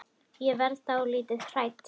Ég verð dálítið hrædd.